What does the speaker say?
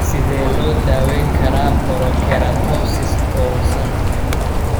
Sidee loo daweyn karaa porokeratosis toosan?